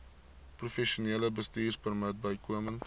professionele bestuurpermit bykomend